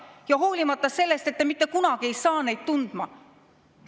et te mitte kunagi ei saa neid tundma.